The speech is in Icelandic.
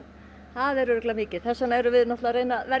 það er nú örugglega mikið þess vegna erum við að reyna að verja